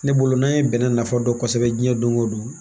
Ne bolo n'a ye bɛnɛ nafa dɔn kosɛbɛ diɲɛ don o don